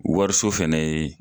Wariso fana ye